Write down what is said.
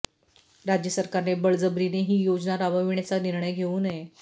राज्य सरकारने बळजबरीने ही योजना राबविण्याचा निर्णय घेऊ नये